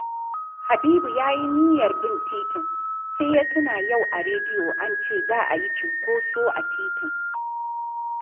Habibu ya yi niyyar bin titin, sai ya tuna yau a rediyo an ce za a yi cinkoso a titin